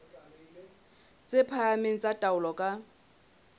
tse phahameng tsa taolo ka